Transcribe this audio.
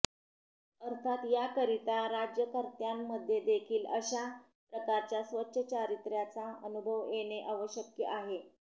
अर्थात याकरीता राज्यकर्त्यांमध्येदेखीलअशा प्रकारच्या स्वच्छ चारित्र्याचा अनुभव येणे आवश्यक आहे